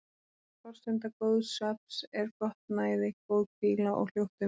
Forsenda góðs svefns er gott næði, góð hvíla og hljótt umhverfi.